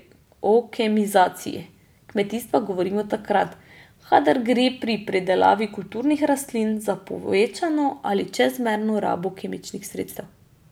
O kemizaciji kmetijstva govorimo takrat, kadar gre pri pridelavi kulturnih rastlin za povečano ali čezmerno rabo kemičnih sredstev.